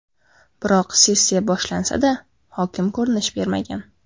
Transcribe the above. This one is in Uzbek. Biroq sessiya boshlansa-da, hokim ko‘rinish bermagan.